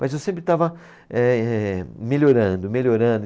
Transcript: Mas eu sempre estava eh melhorando, melhorando.